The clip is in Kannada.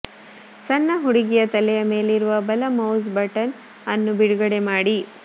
ಸಣ್ಣ ಹುಡುಗಿಯ ತಲೆಯ ಮೇಲಿರುವ ಬಲ ಮೌಸ್ ಬಟನ್ ಅನ್ನು ಬಿಡುಗಡೆ ಮಾಡಿ